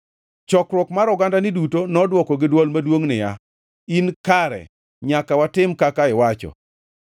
Chokruok mar ogandani duto nodwoko gi dwol maduongʼ niya, “In kare! Nyaka watim kaka iwacho.